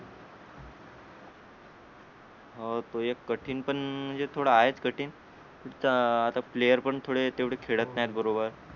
हो ते एक कठीण पण एक थोड आहे च कठीण पुढचा आता player पण थोडे तेवढे खेळत नाही बरोबर